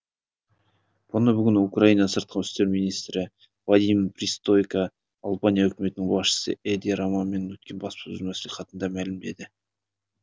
мұны бүгін украина сыртқы істер министрі вадим пристайко албания үкіметінің басшысы эди рамамен өткен баспасөз маслихатында мәлімдеді